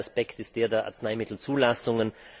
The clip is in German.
Der zweite Aspekt ist der der Arzneimittelzulassungen.